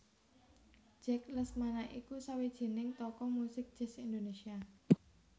Jack Lesmana iku sawijining tokoh muzik jazz Indonésia